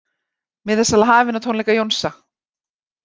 Miðasala hafin á tónleika Jónsa